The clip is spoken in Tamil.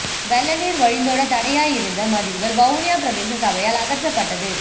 வெள்ளநீர் வழிந்தோட தடையாய் இருந்த மதில்கள் வவுனியா பிரதேச சபையால் அகற்றப்பட்டது